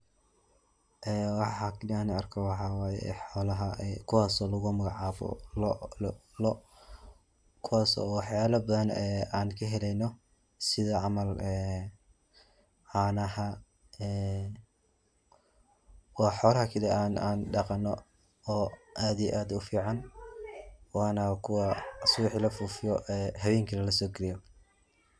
Ee waxa kaliya aan arko waxaa waye xoolaha ee kuwaso lagu magacaabo lo' kuwas oo waxayalaha badan ee aan kaheleyno sida camal ee caanaha ee waa xoolaha kali aan dhaqano oo aad iyo aad u fican waana kuwa subaxi la foofiya ee hawenkina lasokeyo.